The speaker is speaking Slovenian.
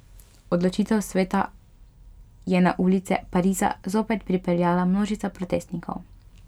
Odločitev sveta je na ulice Pariza zopet pripeljala množice protestnikov.